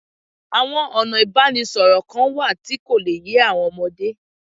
Àwọn ọ̀nà ìbánisọ̀rọ̀ kan wà tí kò le yé àwọn ọmọdé